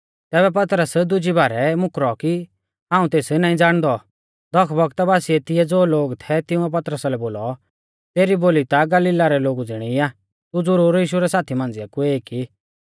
तैबै पतरस दुजी बारै मुकरौ कि हाऊं तेस नाईं ज़ाणदौ दख बौगता बासिऐ तिऐ ज़ो लोग थै तिंउऐ पतरसा लै बोलौ तेरी बोली ता गलीली लोगु ज़िणी आ तू ज़ुरूर यीशु रै साथी मांझ़िया कु एक ई